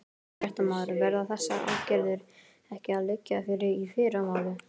Fréttamaður: Verða þessar aðgerðir ekki að liggja fyrir í fyrramálið?